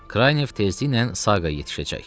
Kranyev tezliklə Saqaya yetişəcək.